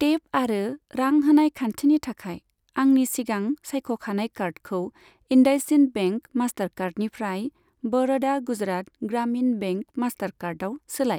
Tape आरो रां होनाय खान्थिनि थाखाय आंनि सिगां सायख'खानाय कार्डखौ इन्डासइन्ड बेंक मास्टारकार्डनिफ्राय बर'दा गुजरात ग्रामिन बेंक मास्टारकार्डआव सोलाय।